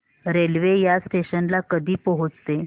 railway या station ला कधी पोहचते